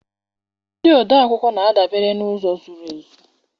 Ndị odeakwụkwọ na-adabere n'ụzọ zuru ezu.